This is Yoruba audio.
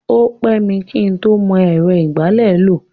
O pẹ́ mi kí ń tó mọ ẹ̀rọ ìgbálẹ̀ lò.